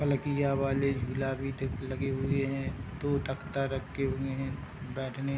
पलकिया वाले झूला भी दे लगे हुए है दो तख्ता रखे हुए है बैठने --